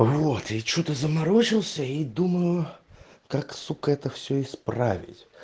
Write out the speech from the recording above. вот я что то заморочился и думаю как сука это все исправить